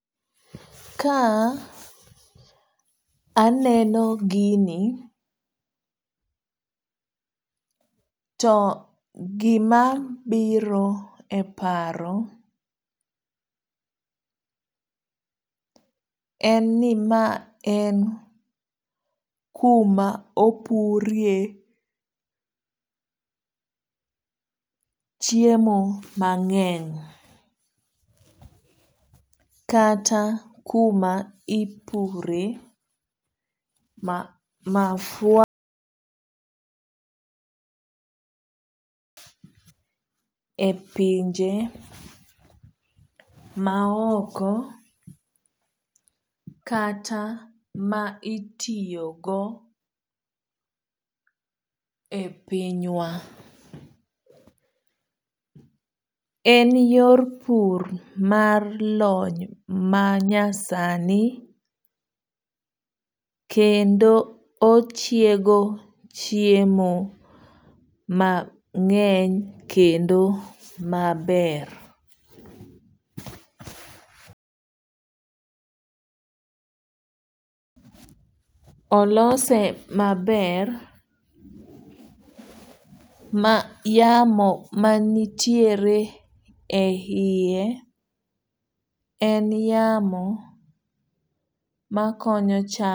Ka aneno gini to gima biro e paro en ni ma en kuma opurie chiemo mang'eny. Kata kuma ipure mafua e pinje ma oko kata ma itiyo go e piny wa. En yor pur mar lony ma nyasani kendo ochiego chiemo mang'eny kendo maber. Olose maber ma yamo manitiere e yie en yamo makonyo cham.